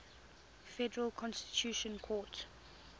federal constitutional court